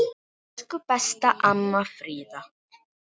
Elsku besta amma Fríða.